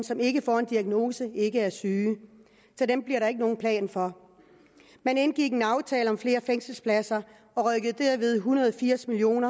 som ikke får en diagnose ikke er syge så dem bliver der ikke nogen plan for man indgik en aftale om flere fængselspladser og rykkede derved en hundrede og firs million